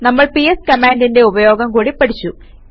നമ്മൾ പിഎസ് കമാൻഡിന്റെ ഉപയോഗം കൂടി പഠിച്ചു